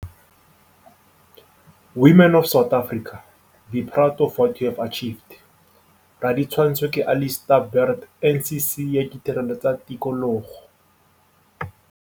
Women of South Africa, be proud of what you have achieved. Raditshwantsho ke Alistair Burt NCC ya Ditirelo tsa Tikologo